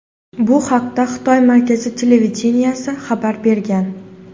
Bu haqda Xitoy Markaziy televideniyesi xabar bergan.